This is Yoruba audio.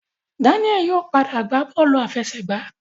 Daniel yóò pàdà gba bọọlu àfẹsẹ̀gbá.